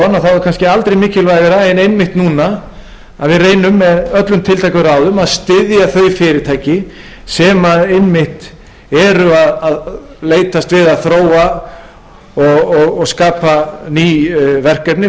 er kannski aldrei mikilvægara en einmitt núna að við reynum með öllum tiltækum ráðum að styðja þau fyrirtæki sem einmitt eru að leitast við að þróa og skapa ný verkefni